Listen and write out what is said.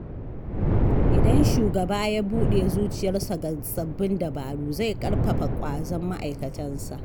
Idan shugaba ya buɗe zuciyarsa ga sabbin dabaru, zai ƙarfafa ƙwazon ma’aikatansa.